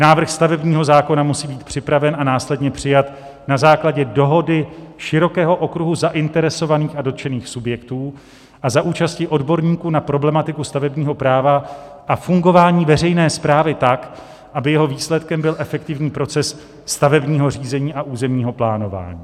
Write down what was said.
Návrh stavebního zákona musí být připraven a následně přijat na základě dohody širokého okruhu zainteresovaných a dotčených subjektů a za účasti odborníků na problematiku stavebního práva a fungování veřejné správy tak, aby jeho výsledkem byl efektivní proces stavebního řízení a územního plánování.